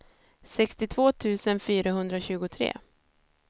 sextiotvå tusen fyrahundratjugotre